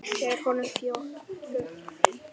Ber honum fötuna.